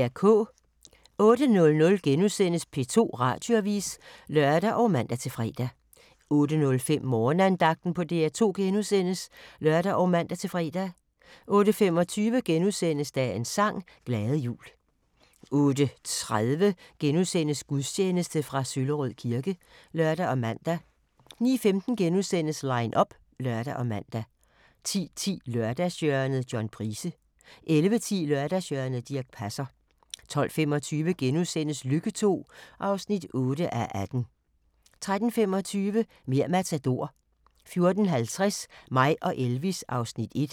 08:00: P2 Radioavis *(lør og man-fre) 08:05: Morgenandagten på DR2 *(lør og man-fre) 08:25: Dagens sang: Glade jul * 08:30: Gudstjeneste fra Søllerød kirke *(lør og man) 09:15: Line up *(lør og man) 10:10: Lørdagshjørnet – John Price 11:10: Lørdagshjørnet - Dirch Passer 12:25: Lykke II (8:18)* 13:25: Mer' Matador 14:50: Mig og Elvis (Afs. 1)